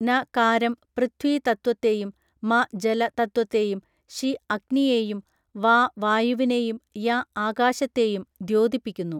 ന കാരം പൃഥ്വീ തത്വത്തെയും മ ജല തത്വത്തെയും ശി അഗ്നിയേയും വാ വായുവിനേയും യ ആകാശത്തെയും ദ്യോതിപ്പിക്കുന്നു